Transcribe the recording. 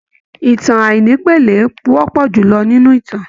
ìtàn àìnípele wọpọ julọ nínú ìtàn.